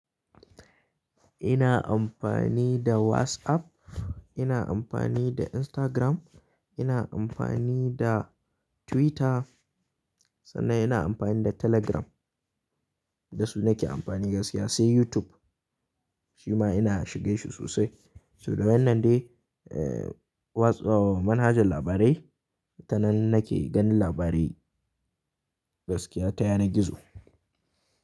Ina amfani da WhatsApp, ina amfani da Instagram, ina amfani da Twitter sannan ina amfani da Telegram. Da su nake amfani gaskiya, sai YouTube shi ma ina shige shi sosai. So da wannan dai, eh, watsa-- manhajar labarai, ta nan nake ganin labarai gaskiya ta yanar gizo.